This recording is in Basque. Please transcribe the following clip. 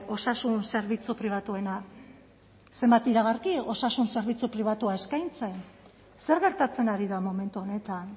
osasun zerbitzu pribatuena zenbat iragarki osasun zerbitzu pribatua eskaintzen zer gertatzen ari da momentu honetan